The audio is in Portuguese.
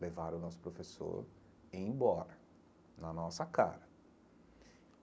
Levaram o nosso professor embora, na nossa cara.